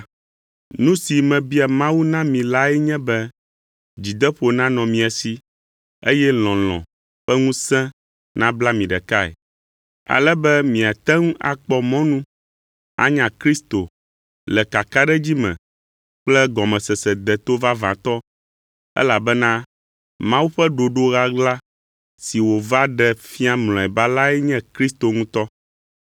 Nu si mebia Mawu na mi lae nye be dzideƒo nanɔ mia si, eye lɔlɔ̃ ƒe ŋusẽ nabla mi ɖekae, ale be miate ŋu akpɔ mɔnu anya Kristo le kakaɖedzi me kple gɔmesese deto vavãtɔ, elabena Mawu ƒe ɖoɖo ɣaɣla si wòva ɖe fia mlɔeba lae nye Kristo ŋutɔ.